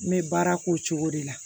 N bɛ baara k'o cogo de la